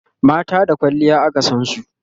mata da kwalliya aka San su